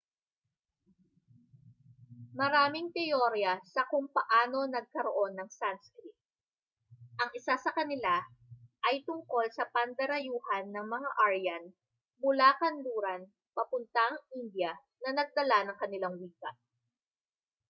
maraming teorya sa kung paano nagkaroon ng sanskrit ang isa sa kanila ay tungkol sa pandarayuhan ng mga aryan mula kanluran papuntang india na nagdala ng kanilang wika